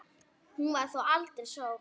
Hún var þó aldrei sótt.